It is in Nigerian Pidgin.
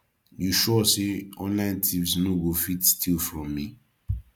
you sure say online thieves no go fit steal from me